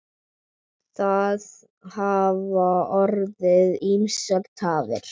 Það hafa orðið ýmsar tafir.